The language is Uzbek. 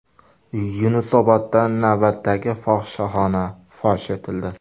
Yunusobodda navbatdagi fohishaxona fosh etildi.